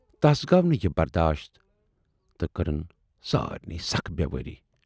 تَس گَو نہٕ یہِ برداشت تہٕ کٔرٕن سارِنٕے سخ بیوٲری۔